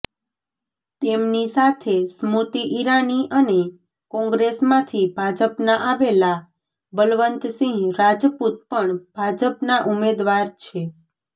તેમની સાથે સ્મૃતિ ઈરાની અને કોંગ્રેસમાંથી ભાજપમાં આવેલા બલવંતસિંહ રાજપૂત પણ ભાજપના ઉમેદવાર છે